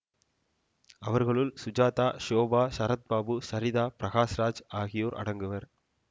அவர்களுள் சுஜாதா ஷோபா சரத்பாபு சரிதா பிரகாஷ்ராஜ் ஆகியோர் அடங்குவர்